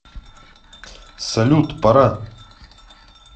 салют пора